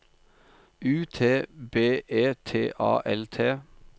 U T B E T A L T